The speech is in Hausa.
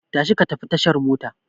Tashi ka tafi tashar mota!